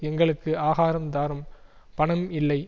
எங்களுக்கு ஆகாரம் தாரும் பணம் இல்லை